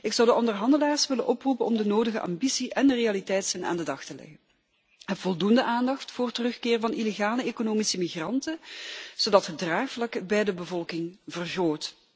Ik zou de onderhandelaars willen oproepen om de nodige ambitie en realiteitszin aan de dag te leggen en ook voldoende aandacht voor terugkeer van illegale economische migranten, zodat het draagvlak bij de bevolking vergroot.